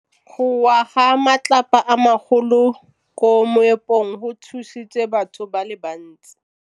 Go wa ga matlapa a magolo ko moepong go tshositse batho ba le bantsi.